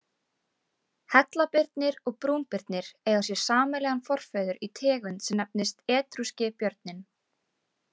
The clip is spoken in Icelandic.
Hellabirnir og brúnbirnir eiga sér sameiginlegan forföður í tegund sem nefnist etrúski björninn.